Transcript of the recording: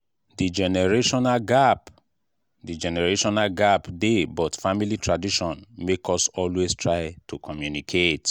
the generational gap the generational gap dey but family tradition make us always try to communicate.